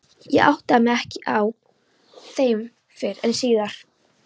Ég áttaði mig ekki á þeim fyrr en síðar.